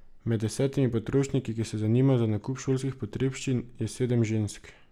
Med desetimi potrošniki, ki se zanimajo za nakup šolskih potrebščin, je sedem žensk.